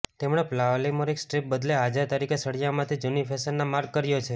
તેમણે polymeric strips બદલે હાજર તરીકે સળિયા માંથી જૂની ફેશનના માર્ગ કર્યો છે